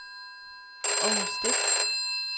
Århus Stift